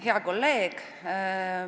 Hea kolleeg!